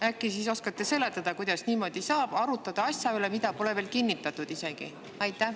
Äkki oskate seletada, kuidas saab arutada asja üle, mida pole veel isegi kinnitatud?